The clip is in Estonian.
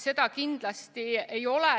Seda kindlasti ei ole.